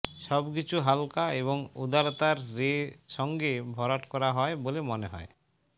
সবকিছু হালকা এবং উদারতার রে সঙ্গে ভরাট করা হয় বলে মনে হয়